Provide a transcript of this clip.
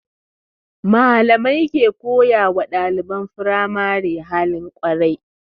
Malamai ke koyawa ɗaliban firamari halin kwarai